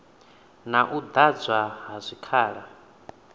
na u ḓadzwa ha zwikhala